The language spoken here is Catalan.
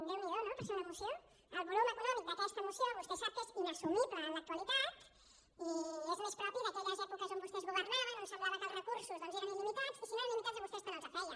déu n’hi do no per ser una moció el volum econòmic d’aquesta moció vostè sap que és inassumible en l’actualitat i que és més propi d’aquelles èpoques en què vostès governaven en què semblava que els recursos doncs eren il·limitats i si no eren il·limitats a vostès tant els feia